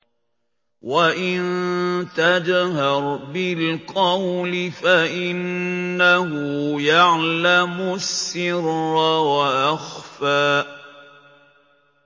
وَإِن تَجْهَرْ بِالْقَوْلِ فَإِنَّهُ يَعْلَمُ السِّرَّ وَأَخْفَى